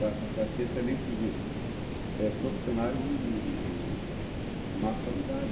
Vai passar a ter também, quer dizer, profissionais de má qualidade.